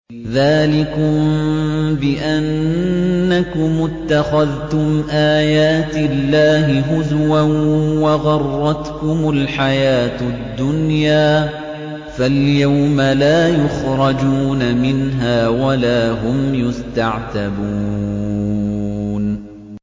ذَٰلِكُم بِأَنَّكُمُ اتَّخَذْتُمْ آيَاتِ اللَّهِ هُزُوًا وَغَرَّتْكُمُ الْحَيَاةُ الدُّنْيَا ۚ فَالْيَوْمَ لَا يُخْرَجُونَ مِنْهَا وَلَا هُمْ يُسْتَعْتَبُونَ